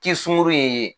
Kisunkurunin in ye